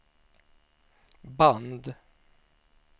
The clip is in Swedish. band